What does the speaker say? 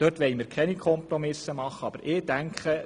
Dort wollen wir keine Kompromisse eingehen und hier schon.